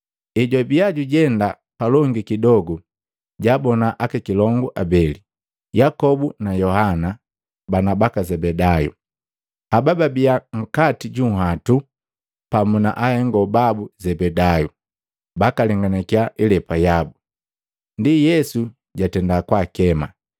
Ejwabia jujenda palongi kidogu, jaabona aka kilongu abeli, Yakobu na Yohana bana baka Zebedayu. Haba babia nkati junhwatu pamu na ahengo babu Zebedayu, bakalenganakiya ilepa yabu. Ndi Yesu jatenda kwaakema,